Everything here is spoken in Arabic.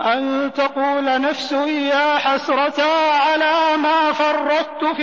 أَن تَقُولَ نَفْسٌ يَا حَسْرَتَا عَلَىٰ مَا فَرَّطتُ